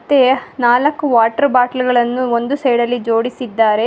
ಮತ್ತೆ ನಾಲ್ಕು water bottle ಗಳನ್ನು ಒಂದು ಸೈಡ ಲ್ಲಿ ಜೋಡಿಸಿದ್ದಾರೆ.